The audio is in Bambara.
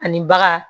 Ani baga